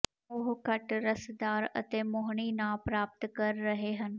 ਉਹ ਘੱਟ ਰਸਦਾਰ ਅਤੇ ਮੋਹਣੀ ਨਾ ਪ੍ਰਾਪਤ ਕਰ ਰਹੇ ਹਨ